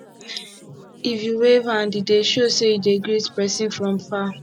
if you wave hand e dey show sey you dey greet pesin from far